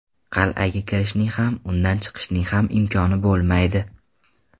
Qal’aga kirishning ham, undan chiqishning ham imkoni bo‘lmaydi.